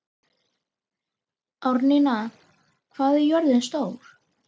Árnína, hvað er jörðin stór?